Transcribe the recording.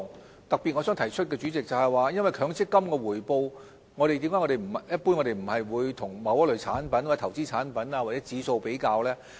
我想特別提出的是，主席，為何我們一般不會將強積金的回報，與某一類產品、投資產品或指數作比較呢？